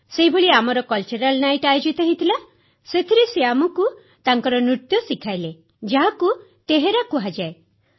ସେହିଭଳି ଆମର ସାଂସ୍କୃତିକ ରାତ୍ରୀ ଆୟୋଜିତ ହୋଇଥିଲା ସେଥିରେ ସେ ଆମକୁ ତାଙ୍କର ନୃତ୍ୟ ଶିଖାଇଲେ ଯାହାକୁ ତେହରା କୁହାଯାଏ